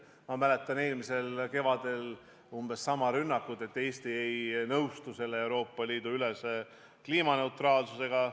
Ma mäletan eelmisest kevadest umbes sama rünnakut, et Eesti ei nõustu selle Euroopa Liidu ülese kliimaneutraalsusega.